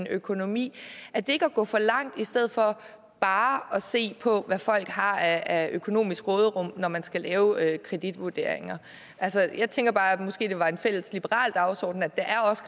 økonomi er det ikke at gå for langt i stedet for bare at se på hvad folk har af økonomisk råderum når man skal lave kreditvurderinger jeg tænker bare at det måske var en fælles liberal dagsorden at der også